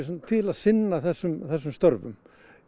til að sinna þessum þessum störfum